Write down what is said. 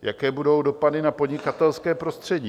Jaké budou dopady na podnikatelské prostředí?